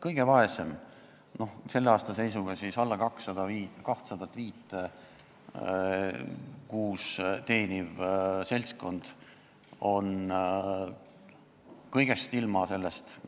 Kõige vaesem, selle aasta seisuga alla 205 euro kuus teeniv seltskond on kõigest sellest ilma.